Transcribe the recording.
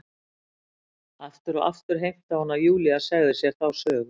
Aftur og aftur heimtaði hún að Júlía segði sér þá sögu.